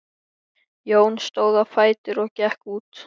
Jón stóð á fætur og gekk út.